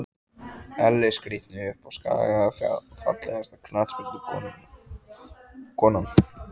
Elli skrítni uppá skaga Fallegasta knattspyrnukonan?